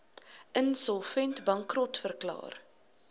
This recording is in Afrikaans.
insolvent bankrot verklaar